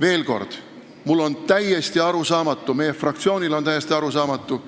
Veel kord: mulle ja kogu meie fraktsioonile on täiesti arusaamatu,